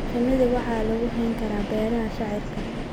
Shinida waxaa lagu hayn karaa beeraha shaciirka.